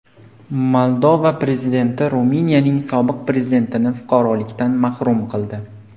Moldova prezidenti Ruminiyaning sobiq prezidentini fuqarolikdan mahrum qildi.